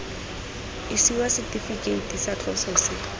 isiwa setifikeiti sa tloso se